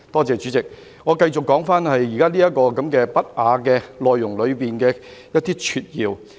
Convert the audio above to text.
主席，我繼續說回這些不雅內容裏的一些撮要。